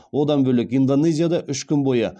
одан бөлек индонезияда үш күн бойы